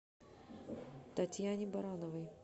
татьяне барановой